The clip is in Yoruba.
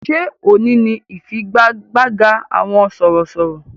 Ṣé òní ni ifigagbaga àwọn sọ̀rọ̀sọ̀rọ̀?